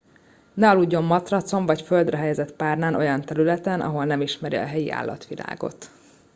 ne aludjon matracon vagy a földre helyezett párnán olyan területen ahol nem ismeri a helyi állatvilágot